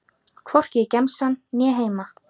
Hvorki í gemsann né heima.